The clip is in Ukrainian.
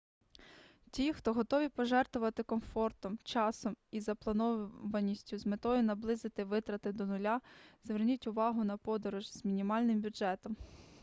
ті хто готові пожертвувати комфортом часом і запланованістю з метою наблизити витрати до нуля зверніть увагу на подорож з мінімальним бюджетом